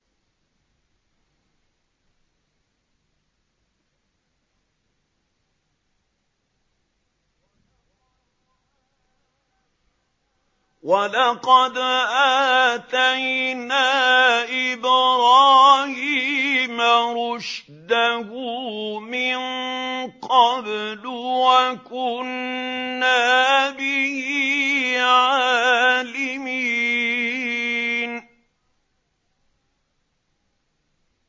۞ وَلَقَدْ آتَيْنَا إِبْرَاهِيمَ رُشْدَهُ مِن قَبْلُ وَكُنَّا بِهِ عَالِمِينَ